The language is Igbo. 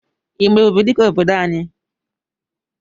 Ị ma Ebubedike obodo anyị?